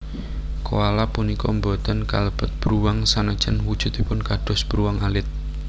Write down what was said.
Koala punika boten kalebet bruwang sanajan wujudipun kados bruwang alit